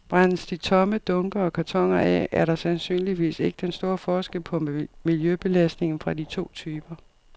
Brændes de tomme dunke og kartoner af, er der sandsynligvis ikke den store forskel på miljøbelastningen fra de to typer.